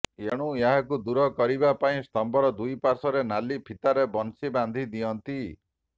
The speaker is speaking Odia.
ଏଣୁ ଏହାକୁ ଦୂର କରିବା ପାଇଁ ସ୍ତମ୍ବର ଦୁଇ ପାଶ୍ବରେ ନାଲି ଫିତାରେ ବଂଶୀ ବାନ୍ଧି ଦିଅନ୍ତୁ